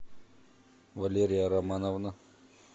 валерия романовна